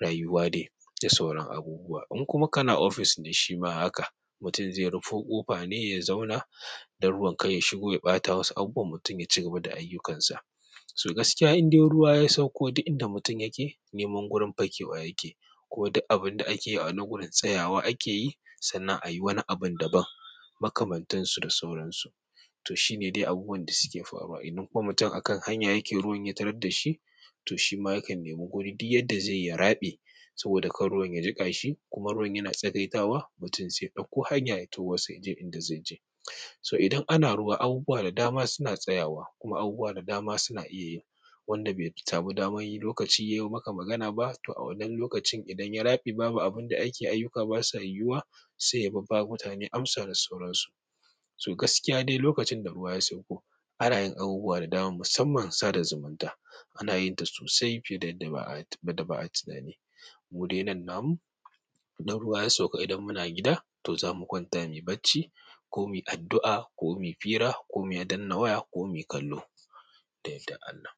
rayuwa dai da sauran abubuwa. In kuma kana ofis ne shima haka, mutum zai rufe ƙofa ne ya zauna don ruwan kai ya shigo ya ɓata wasu abubuwa mutum ya cigaba da ayyukansa. So gaskiya idan ruwa ya sauko duk inda mutum yake neman gurin fakewa yake ko duk abin da ake yi ana gurin tsayawa ake yi sannan a yi wani abin daban makamantansu da sauransu. To shine dai abubuwan da suke faruwa. Idan kuma mutum a kan hanya yake ruwan ya tarar da shi, to shima ya kan nemi guri duk yadda zai yi ya raɓe saboda kar ruwan ya jiƙa shi kuma ruwan yana tsagaita wa mutum sai ɗauko hanya ta wasu ya je inda zai je. So idan ana ruwa abubuwa da dama suna tsayawa kuma abubuwa da dama suna iya yi. Wanda bai samu damar yi lokaci yayo maka magana ba to a wannan lokacin idan ya rabe babu abinda ake ayyuka basa yiwuwa sai ya babba mutane amsa da sauransu. So gaskiya dai lokacin da ruwa ya sauko ana yin abubuwa da dama musamman sa da zumunta ana yin ta sosai fiye da yadda ba'a tunani. Mude nan namu, dan ruwa ya sauka idan muna gida to za mu kwanta muyi bacci ko muyi addu'a ko muyi fira ko muyi danna waya ko muyi kallo. Da yardar Allah.